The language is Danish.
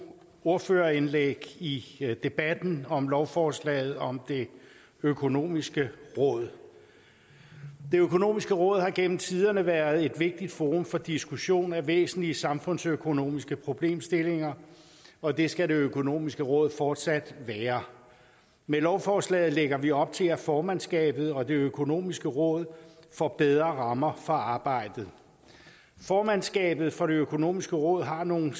ordførerindlæg i debatten om lovforslaget om det økonomiske råd det økonomiske råd har gennem tiderne været et vigtigt forum for diskussion af væsentlige samfundsøkonomiske problemstillinger og det skal det økonomiske råd fortsat være med lovforslaget lægger vi op til at formandskabet og det økonomiske råd får bedre rammer for arbejdet formandskabet for det økonomiske råd har nogle